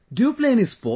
Do you play any sport